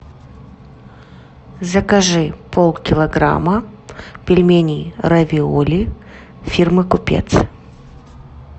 закажи полкилограмма пельменей равиоли фирмы купец